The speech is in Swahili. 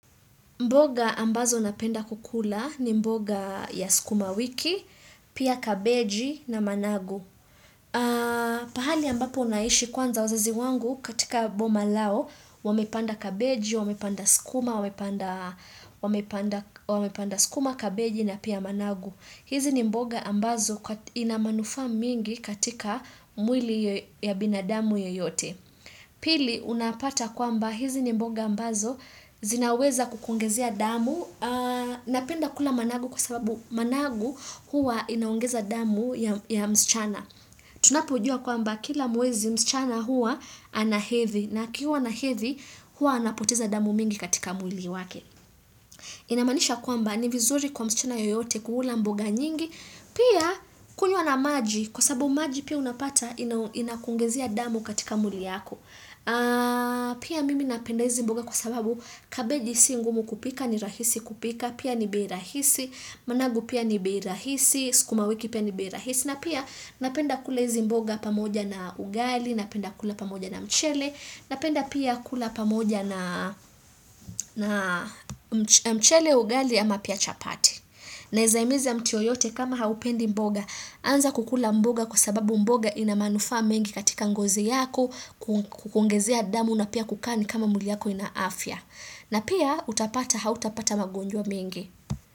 Mboga ambazo napenda kukula ni mboga ya skuma wiki, pia kabeji na managu. Pahali ambapo naishi kwanza wazazi wangu katika boma lao, wamepanda kabeji, wamepanda skuma, wamepanda skuma, kabeji na pia managu. Hizi ni mboga ambazo inamanufa mingi katika mwili ya binadamu yoyote. Pili unapata kwamba hizi ni mboga ambazo zinaweza kukuongezea damu Napenda kula managu kwa sababu managu huwa inaongeza damu ya msichana Tunapo juwa kwamba kila mwezi msichana huwa ana hedhi na akiwa na hedhi huwa anapoteza damu nyingi katika mwili wake Inamanisha kwamba ni vizuri kwa msichana yoyote kula mboga nyingi Pia kunywa na maji kwa sababu maji pia unapata ina kuongezea damu katika mwili wako Pia mimi napenda hizi mboga kwa sababu kabeji si ngumu kupika ni rahisi kupika pia ni bei rahisi, managu pia ni bei rahisi, skuma wiki pia ni bei rahisi na pia napenda kula hizi mboga pamoja na ugali, napenda kula pamoja na mchele napenda pia kula pamoja na mchele ugali ama pia chapati naeza himiza mtu yoyote kama haupendi mboga anza kukula mboga kwa sababu mboga inamanufaa mengi katika ngozi yako kukuongezea damu na pia kukaa kama mwili yako ina afya. Na pia utapata hautapata magonjwa mengi.